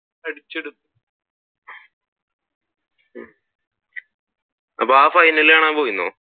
അപ്പൊ ആഹ് ഫൈനൽ കാണാൻ പോയിരുന്നോ?